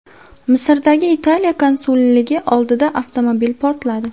Misrdagi Italiya konsulligi oldida avtomobil portladi.